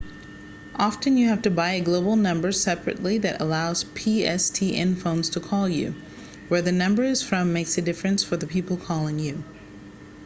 often you have to buy a global number separately that allows pstn phones to call you where the number is from makes a difference for people calling you